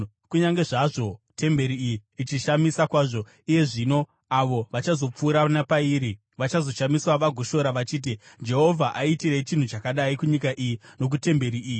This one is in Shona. Kunyange zvazvo temberi iyi ichishamisa kwazvo iye zvino, avo vachazopfuura napairi vachazoshamiswa vagoshora vachiti, ‘Jehovha aitirei chinhu chakadai kunyika iyi nokutemberi iyi?’